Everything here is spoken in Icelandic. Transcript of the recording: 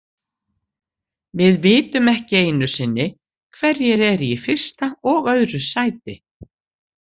Við vitum ekki einu sinni hverjir eru í fyrsta og öðru sæti.